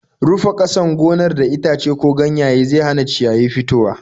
Rufe ƙasan gonar da itace ko ganyaye zau hana ciyayi fitowa.